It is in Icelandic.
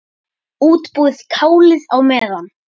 Útbúið kálið á meðan.